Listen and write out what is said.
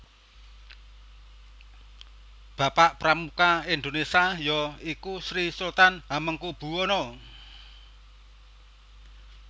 Bapak Pramuka Indonesia ya iku Sri Sultan Hamengkubuwono